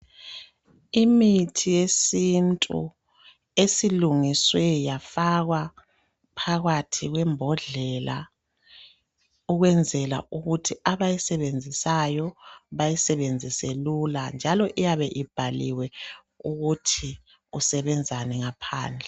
Imithi yesintu esilungiswe yafakwa phakathi kwembodlela ukwenzela ukuthi abayisebenzisayo bayisebenzise lula njalo iyabe ibhaliwe ukuthi usebenzani ngaphandle.